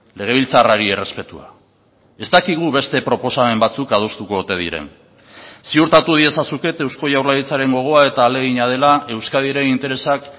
legebiltzarrari errespetua ez dakigu beste proposamen batzuk adostuko ote diren ziurtatu diezazuket eusko jaurlaritzaren gogoa eta ahalegina dela euskadiren interesak